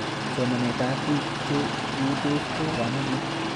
Somanet ab pik che eutos ko makat chig'ilet nepo kamanut